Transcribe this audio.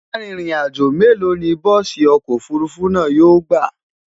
Àrin rìn àjọ mélò ní bùsi ọkọ òfurufú náà yóò gbà?